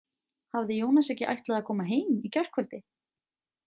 Hafði Jónas ekki ætlað að koma heim í gærkvöldi?